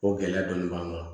O gɛlɛya dɔɔnin b'an kan